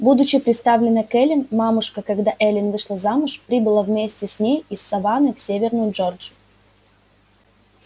будучи приставлена к эллин мамушка когда эллин вышла замуж прибыла вместе с ней из саванны в северную джорджию